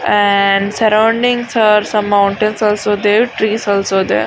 And surroundings are mountains are there trees also there .